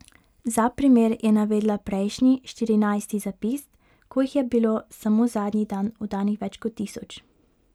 Za primer je navedla prejšnji, štirinajsti razpis, ko jih je bilo samo zadnji dan oddanih več kot tisoč.